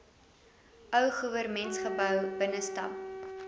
ou goewermentsgebou binnestap